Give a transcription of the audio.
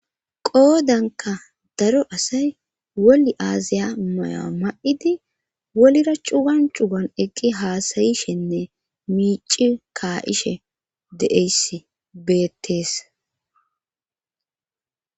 Qoodanka daro asay woli aaziya maya ma7idi wolira cugan cugan eqqi haasayishenne miici kaa7ishe deeyss beettees.